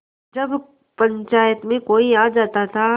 जब पंचायत में कोई आ जाता था